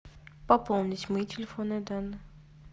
пополнить мои телефонные данные